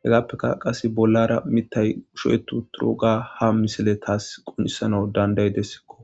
hegaappeka qase bollara mitay usho'etu turoga ha misile taas qunisana danday dessikko.